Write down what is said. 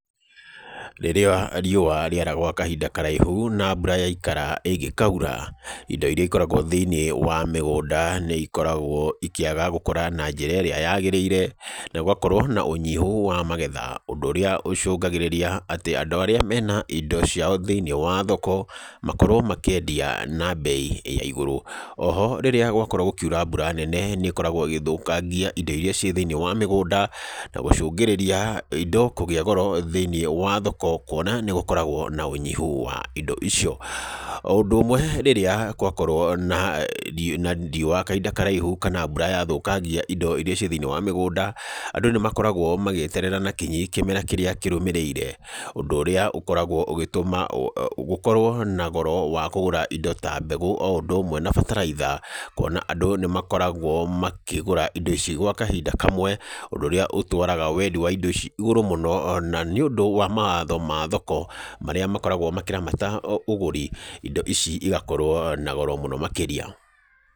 Rĩrĩa riũa rĩara gwa kahinda karaihu, na mbura yaikara ĩngĩkaura, indo irĩa ikoragwo thĩiniĩ wa mĩgũnda nĩ ikoragwo ikĩaga gũkũra na njĩra ĩrĩa yagĩrĩire, na gũgakorwo na ũnyihu wa magetha. Ũndũ ũrĩa ũcũngagĩrĩria atĩ andũ arĩa mena indo ciao thĩiniĩ wa thoko, makorwo makĩendia na mbei ya igũrũ. Oho, rĩrĩa gwakorwo gũkiura mbura nene nĩ ĩkoragwo ĩgĩthũkangia indo irĩa ciĩ thĩiniĩ wa mĩgũnda, na gũcũngĩrĩria indo kũgĩa goro thĩiniĩ wa thoko, kuona nĩ gũkoragwo na ũnyihu wa indo icio. O ũndũ ũmwe, rĩrĩa kwakorwo na na riũa kahinda karaihu kana mbura yathũkangia indo irĩa ciĩ thĩiniĩ wa mĩgũnda, andũ nĩ makoragwo magĩeterera na kinyi kĩmera kĩrĩa kĩrũmĩrĩire. Ũndũ ũrĩa ũkoragwo ũgĩtũma gũkorwo na goro wa kũgũra indo ta mbegũ o ũndũ ũmwe na bataraitha, kuona andũ nĩ makoragwo makĩgũra indo ici gwa kahinda kamwe, ũndũ ũrĩa ũtwaraga wendi wa indo ici igũrũ mũno. Na nĩ ũndũ wa mawatho ma thoko marĩa makoragwo makĩramata ũgũri, indo ici igakorwo na goro mũno makĩria.